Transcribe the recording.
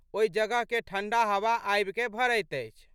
ओहि जगहके ठंढा हवा आबिकए भरैत अछि।